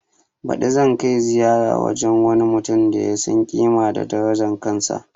Baɗi zan kai ziyara wajen wani mutum da ya san ƙima da darajan kansa